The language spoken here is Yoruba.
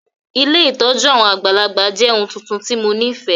Ilé ìtójú àwon àgbàlagbà jẹ oun tuntun ti mo nifẹ.